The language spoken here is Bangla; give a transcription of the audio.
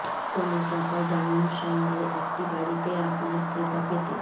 কোন টাকা ডাউন সঙ্গে একটি বাড়িতে আপনার ক্রেতা পেতে